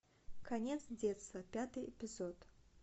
конец детства пятый эпизод